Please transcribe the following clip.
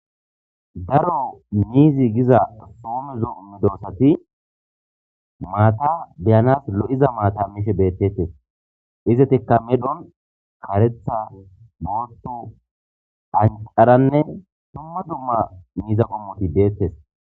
daro miizi giza soome zooummido sati maata beyanas lo7iza maata mishe beettettes izetikka medhon karetha boottu ancaranne dumma dumma miiza qomoti deettes